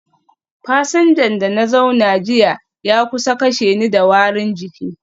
Fasinjan da na zauna jiya ya kusa kashe ni da warin jiki